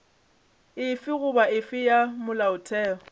efe goba efe ya molaotheo